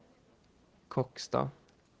Kokstad